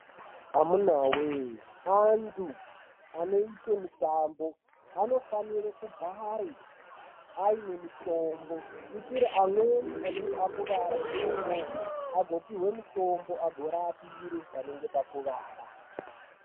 Amunaa wee, antu, anoite mitambo, anofanire kugare aine mutoombo. Kuitire amweni anenge akuwara ikoko ko, apihwe mitombo agorapire panenge pakuvara.